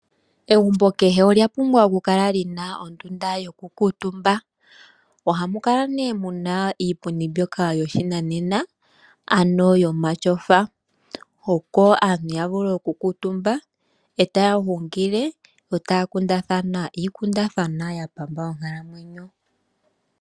Egumbo kehe olya pumbwa okukala li na ondunda yokukuutumba . Ohamu kala nee mu na iipundi mbyoka yoshinanena, ano yomatyofa opo aantu ya vule okukuutumba ,e taya hungile yo taya kundathana iikundathanwa ya pamba onkalamwenyo.